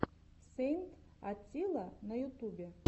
сэйнт атилла на ютубе